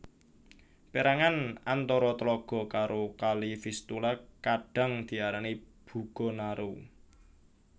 Pérangan antara tlaga karo Kali Vistula kadhang diarani Bugo Narew